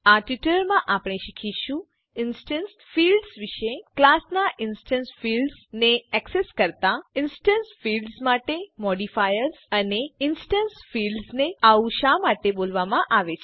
આ ટ્યુટોરીયલમાં આપણે શીખીશું ઇન્સ્ટેન્સ ફિલ્ડ્સ વિશે ક્લાસ નાં ઇન્સ્ટેન્સ ફિલ્ડ્સ ને એક્સેસ કરતા ઇન્સ્ટેન્સ ફિલ્ડ્સ માટે મોડિફાયર્સ અને ઇન્સ્ટેન્સ ફિલ્ડ્સ ને આવું શા માટે બોલવામાં આવે છે